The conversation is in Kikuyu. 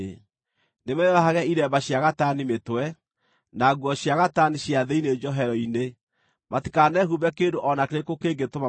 Nĩmeyohage iremba cia gatani mĩtwe, na nguo cia gatani cia thĩinĩ njohero-inĩ. Matikanehumbe kĩndũ o na kĩrĩkũ kĩngĩtũma mathigine.